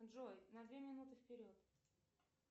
джой на две минуты вперед